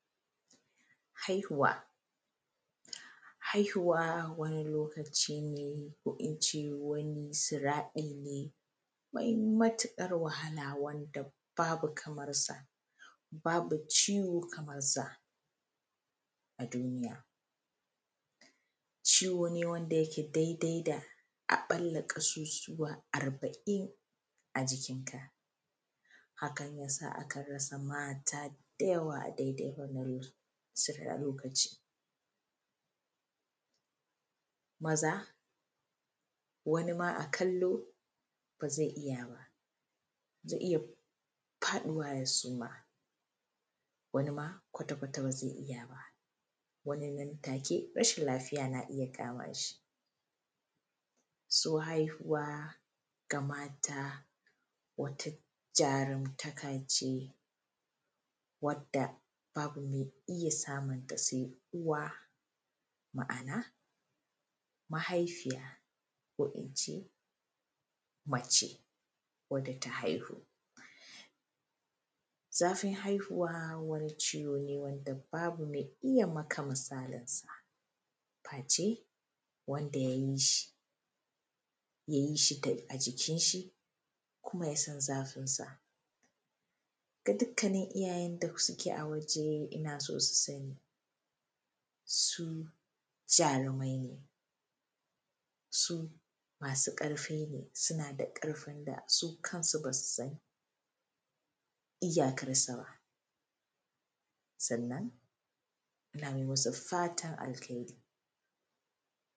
haihuwa haihuwa wani lokaci ne ko in ce wani siraɗi ne mai matuƙar wahala wanda babu kamarsa babu ciwo kamarsa a duniya ciwo ne wanda yake dai dai da a ɓala ƙasusuwa arba'in a cikinka hakan yasa a kan rasa mata da yawa a dai dai wannan lokacin maza wani a kallo ba zai iya ba zai iya faɗuwa ya suma wani ma kwata kwata ba zai ija ba wani nan take rashin lafiya na iya kamashi so haihuwa ga mata wata jarumtaka ce wadda babu mai iya samunta sai uwa ma'ana mahaifiya ko ince mace wada ta haihu zafin haihuwa wani ciwo ne wada babu mai iya maka misalinsa faye wanda ya yi shi ya yi shi tun a cikin shi kuma ya san zafin sa ga dukanin iyayen da suke a waje ina so su sani su jarumai ne su masu ƙarfi ne suna da ƙarfin da su kansu ba su san iyakar sa ba sannan ina mai masu fatan alheri